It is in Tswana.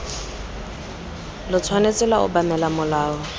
lo tshwanetse lwa obamela molao